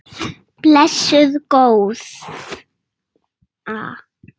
Blessuð góða.